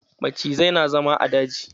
Macizai na zama a daji.